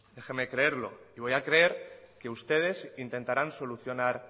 déjeme creerlo y voy a creer que ustedes intentarán solucionar